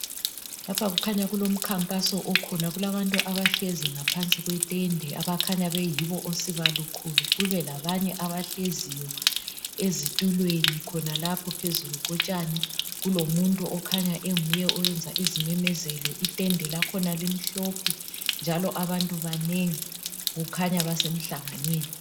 lapha kukhanya kulokhankaso khona kulabantu abahlezi ngaphansi kwetende abakhanya beyibo osibalukhulu kube labanye bahleziyo ezitulweni khonalapho phezulu kotshani kulomuntu onguye okhanya eyenza izimemezelo itende lakhona limhlophe njalo abantu banengi kukhanya basemhlanganweni